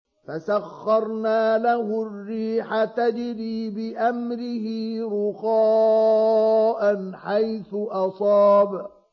فَسَخَّرْنَا لَهُ الرِّيحَ تَجْرِي بِأَمْرِهِ رُخَاءً حَيْثُ أَصَابَ